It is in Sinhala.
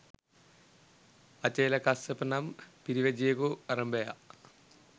අචේලකස්සප නම් පිරිවැජියෙකු අරභයා